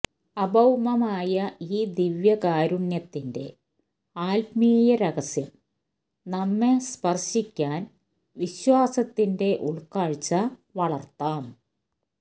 അഭൌമമായ ഈ ദിവ്യകാരുണ്യത്തിന്റെ ആത്മീയ രഹസ്യം നമ്മെ സ്പര്ശിക്കാന് വിശ്വാസത്തിന്റെ ഉള്ക്കാഴ്ച വളര്ത്താം